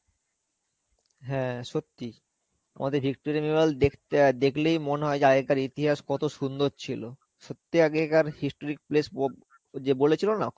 হ্যাঁ, সত্যি. আমাদের Victoria memorial দেখতে দেখলেই মনেহয় আগেকার ইতিহাস কতো সুন্দর ছিলো. সত্যি আগেকার historic place ওক ওই যে বলেছিল না